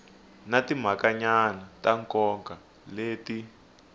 na timhakanyana ta nkoka leti